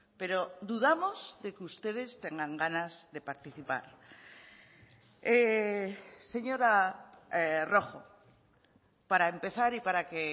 pero dudamos de que ustedes tengan ganas de participar señora rojo para empezar y para que